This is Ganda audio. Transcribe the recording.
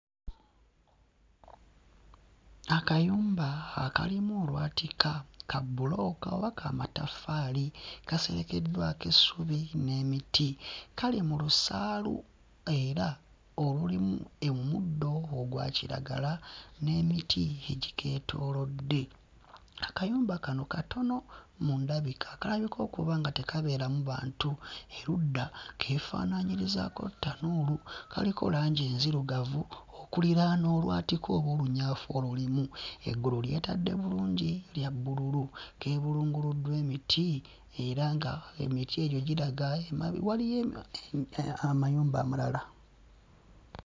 Akayumba akalimu olwatika, ka bbulooka oba ka mataffaali, kaserekeddwako essubi n'emiti. Kali mu lusaalu era olulimu omuddo ogwa kiragala n'emiti egikeetoolodde. Akayumba kano katono mu ndabika, akalabika okuba nga tekabeeramu bantu, erudda keefaanaanyirizaako ttanuulu, kaliko langi enzirugavu okuliraana olwatika oba olunyaafa olulimu. Eggulu lyetadde bulungi lya bbululu, lyebulunguluddwa emiti era ng'emiti egyo giraga emabega waliyo emi... amayumba amalala.